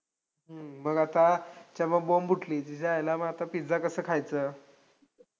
मग आता सर्व बोंब उठली की तिच्या आयला मग आता पिझ्झा कसा खायचं?